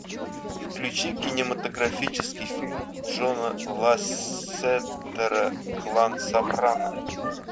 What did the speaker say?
включи кинематографический фильм джона лассетера клан сопрано